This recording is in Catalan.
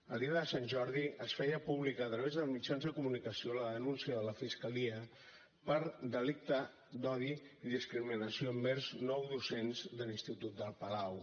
el dia de sant jordi es feia pública a través dels mitjans de comunicació la denúncia de la fiscalia per delicte d’odi i discriminació envers nou docents de l’institut el palau